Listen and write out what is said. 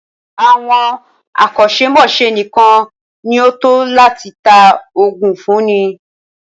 Àwọn akọ́ṣẹ́mọ́ṣẹ́ nìkan ní o tọ́ láti tá oògùn fúnni.